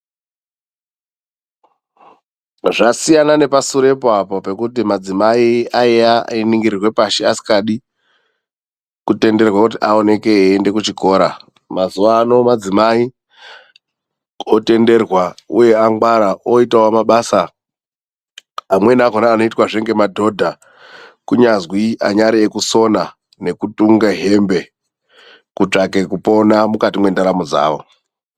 Zvasiyana nepashure apo zvekuti madzimai aingirwa pashi asingadi kutenderwa eienda kuchikora mazuva ano madzimai otenderwa uye angwara oitawo mabasa amweni anoitwa nemadhodha kunyazi ekusona hembe kuri kutsvake kupona mukati mwrndaramo dzavo.